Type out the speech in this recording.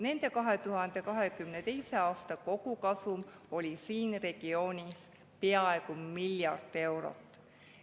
Nende 2022. aasta kogukasum siin regioonis oli peaaegu miljard eurot.